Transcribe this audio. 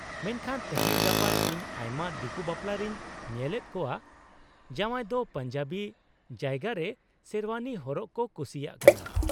-ᱢᱮᱱᱠᱷᱟᱱ ᱛᱮᱦᱮᱧ ᱜᱟᱯᱟ ᱤᱧ ᱟᱭᱢᱟ ᱫᱤᱠᱩ ᱵᱟᱯᱞᱟ ᱨᱤᱧ ᱧᱮᱞᱮᱫ ᱠᱚᱣᱟ ᱡᱟᱶᱟᱭ ᱫᱚ ᱯᱟᱧᱡᱟᱵᱤ ᱡᱟᱭᱜᱟ ᱨᱮ ᱥᱮᱨᱣᱟᱱᱤ ᱦᱚᱨᱚᱜ ᱠᱚ ᱠᱩᱥᱤᱭᱟᱜ ᱠᱟᱱᱟ ᱾